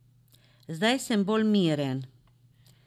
Zdaj sem bolj miren.